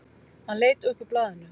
Hann leit upp úr blaðinu.